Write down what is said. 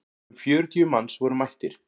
Um fjörutíu manns voru mættir.